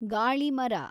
ಗಾಳಿ ಮರ